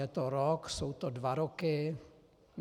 Je to rok, jsou to dva roky?